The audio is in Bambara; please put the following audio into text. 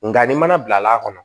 Nka ni mana bilal'a kɔnɔ